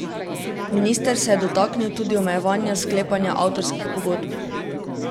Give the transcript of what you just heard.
Minister se je dotaknil tudi omejevanja sklepanja avtorskih pogodb.